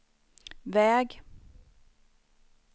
väg